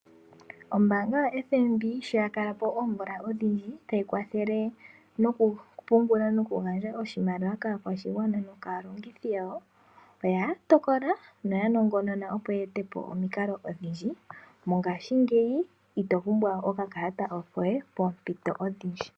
Ombaanga yoFNB shoya kalapo oomvula odhindji tayi kwathele noku pungula noku gandja oshimaliwa kaakwashigwana no kaalongi yawo, oya tokola noya nongonona opo ya etepo omikalo odhindji. Mongashingeyi ito pumbwa we okakalata koye poompito odhindji.